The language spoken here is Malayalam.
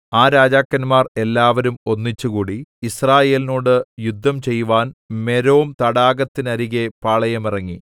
ആ രാജാക്കന്മാർ എല്ലാവരും ഒന്നിച്ചുകൂടി യിസ്രായേലിനോട് യുദ്ധം ചെയ്‌വാൻ മേരോം തടാകത്തിന്നരികെ പാളയമിറങ്ങി